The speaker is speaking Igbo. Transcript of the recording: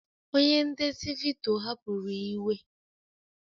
Onye ndezi vidiyo hapụrụ iwe